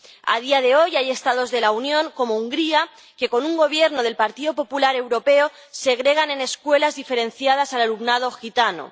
A día de hoy, hay Estados de la Unión como Hungría que, con un Gobierno del Partido Popular Europeo, segregan en escuelas diferenciadas al alumnado gitano.